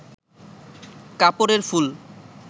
কাপড়ের ফুল